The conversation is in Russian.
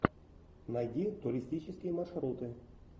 найди туристические маршруты